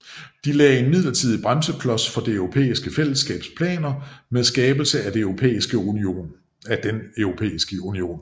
De lagde en midlertidig bremseklods for det Europæiske Fællesskabs planer med skabelse af den Europæiske Union